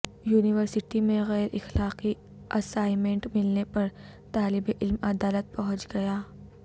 university میں غیراخلاقی assignment ملنے پر طالب علم عدالت پہنچ گیا